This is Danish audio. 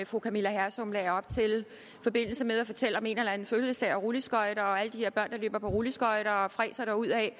fru camilla hersom lagde op til i forbindelse med at fortælle om en eller anden fødselsdag og rulleskøjter og alle de her børn der løber på rulleskøjter og fræser derudad